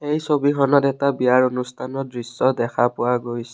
এই ছবিখনত এটা বিয়াৰ অনুষ্ঠানৰ দৃশ্য দেখা পোৱা গৈছে।